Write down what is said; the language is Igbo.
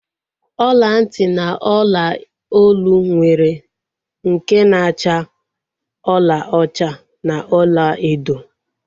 Ọla ntị na ọla olu nwere nke na-acha ọlaọcha na olaedo